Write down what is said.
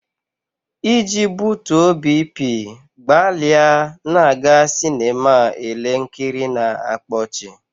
Iji butuo BP, gbalịa na-aga sinema ele nkiri na-akpa ọchị.